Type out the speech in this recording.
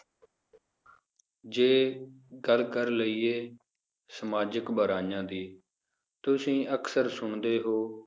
ਜੇ ਗੱਲ ਕਰ ਲਇਏ ਸਮਾਜਿਕ ਬੁਰਾਈਆਂ ਦੀ, ਤੁਸੀਂ ਅਕਸਰ ਸੁਣਦੇ ਹੋ,